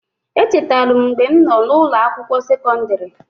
Echetalu m mgbe m nọ n'ụnọ akwụkwọ sekọndịrị.